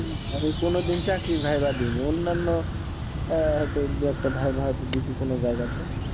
আমি কোন দিন চাকরির viva দিইনি, অন্যান্য আহ দু একটা viva হয়তো দিছি কোনো জায়গা তে।